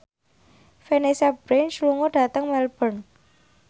Vanessa Branch lunga dhateng Melbourne